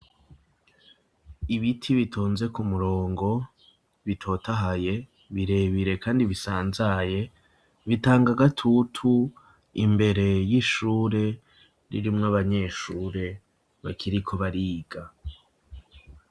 Ibiti bitonze ku murongo, bitotahaye birebire kandi bisanzaye, bitanga agatutu imbere y'ishure ririmwo abanyeshure bakiriko bariga.